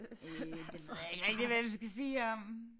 Øh det ved jeg ikke rigtig hvad vi skal sige om